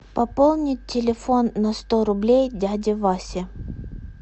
пополнить телефон на сто рублей дяде васе